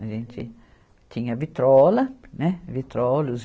A gente tinha vitrola, né, vitrola, os